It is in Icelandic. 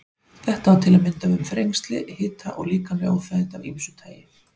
Þetta á til að mynda við um þrengsli, hita og líkamleg óþægindi af ýmsu tagi.